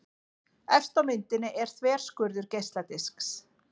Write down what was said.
Efst á myndinni er þverskurður geisladisks.